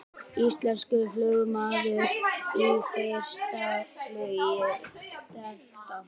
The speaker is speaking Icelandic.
Íslenskur flugmaður í fyrsta flugi Delta